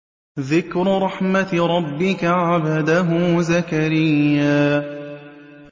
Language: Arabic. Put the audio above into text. ذِكْرُ رَحْمَتِ رَبِّكَ عَبْدَهُ زَكَرِيَّا